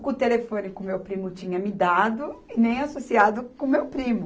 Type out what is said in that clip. O telefone que o meu primo tinha me dado e nem associado com meu primo.